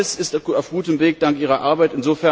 Beides ist auf gutem Weg dank Ihrer Arbeit.